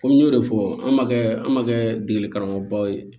Komi n y'o de fɔ an ma kɛ an ma kɛ degeli karamɔgɔbaw ye